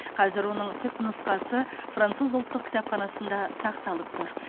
қазір оның түпнұсқасы француз ұлттық кітапханасында сақталып тұр